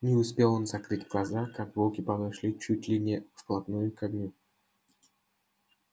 не успел он закрыть глаза как волки подошли чуть ли не вплотную к огню